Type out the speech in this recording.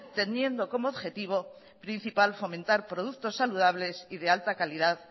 teniendo como objetivo principal fomentar productos saludables y de alta calidad